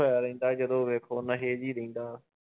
ਹੋਇਆ ਰਹਿੰਦਾ ਜਦੋਂ ਵੇਖੋ ਨਸ਼ੇ ਚ ਹੀ ਰਹਿੰਦਾ।